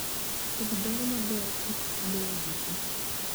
Kodhi dongo maber e kit lowo duto